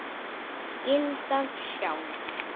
Skyldan sjálf